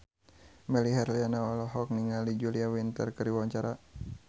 Melly Herlina olohok ningali Julia Winter keur diwawancara